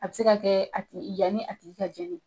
A bi se ka kɛ a tigi yani a tigi i ka jeni.